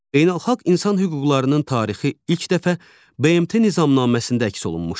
Beynəlxalq insan hüquqlarının tarixi ilk dəfə BMT Nizamnaməsində əks olunmuşdur.